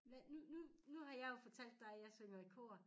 Hvad nu nu nu har jeg jo fortalt dig at jeg synger i kor